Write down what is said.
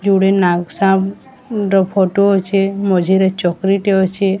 ଯୋଡେ ନାଗ ସାପ ର ଫଟୋ ଅଛେ ମଝିରେ ଚକ୍ରି ଟେ ଅଛି।